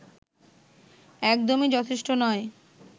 একদমই যথেষ্ট নয়